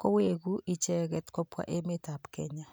koweku icheket kobwa emetap Kenya.